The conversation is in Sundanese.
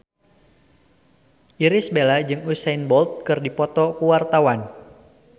Irish Bella jeung Usain Bolt keur dipoto ku wartawan